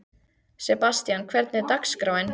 Sebastian, hvernig er dagskráin?